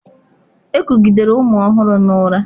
Ekugidere ụmụ ọhụrụ na ụra.